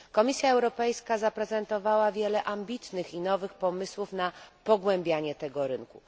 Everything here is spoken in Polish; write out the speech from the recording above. Komisja Europejska zaprezentowała wiele ambitnych i nowych pomysłów na pogłębianie tego rynku.